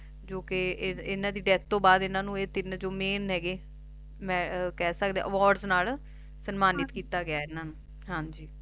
ਜੌ ਕਿ ਇੰਨਾ ਦੀ Death ਤੋਂ ਬਾਅਦ ਇਹਨਾ ਨੂੰ ਇਹ ਜੌ ਤੀਨ Main ਹੈਗੇ Awards ਨਾਲ ਸਨਮਾਨਿਤ ਕੀਤਾ ਗਿਆ ਇਹਨਾਂ ਨੂੰ ਹਾਂਜੀ